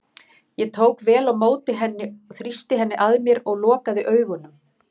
Ég tók vel á móti henni, þrýsti henni að mér og lokaði augunum.